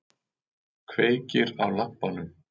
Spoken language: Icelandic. Kveikir á lampanum.